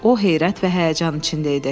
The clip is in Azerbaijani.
O heyrət və həyəcan içində idi.